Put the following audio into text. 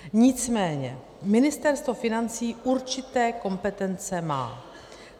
Nicméně Ministerstvo financí určité kompetence má.